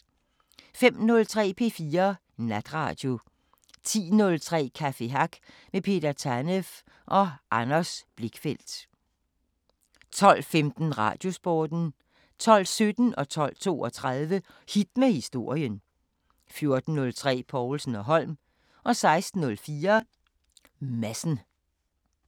05:03: P4 Natradio 10:03: Café Hack med Peter Tanev og Anders Blichfeldt 12:15: Radiosporten 12:17: Hit med historien 12:32: Hit med historien 14:03: Povlsen & Holm 16:04: Madsen